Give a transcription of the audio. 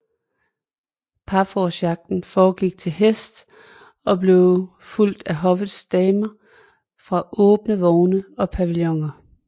Parforcejagten foregik til hest og blev fulgt af hoffets damer fra åbne vogne eller pavilloner